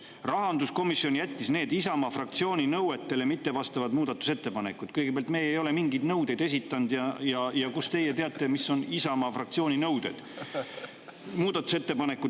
Rahanduskomisjon jättis need Isamaa fraktsiooni nõuetele mittevastavad muudatusettepanekud – kõigepealt, me ei ole mingeid nõudeid esitanud ja kust teie teate, mis on Isamaa fraktsiooni nõuded?